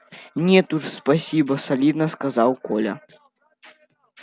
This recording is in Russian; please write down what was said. нет уж спасибо солидно сказал коля